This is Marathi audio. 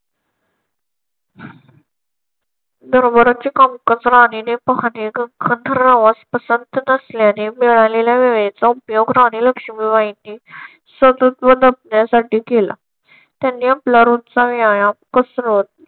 दरबाराचे कामकाज राणीने पाहणे गंगाधररावास पसंत नसल्याने मिळालेल्या वेळेचा उपयोग राणी लक्ष्मी बाईंनी स्वतत्व जपण्यासाठी केला. त्यांनी आपला रोजचा व्यायाम कसरत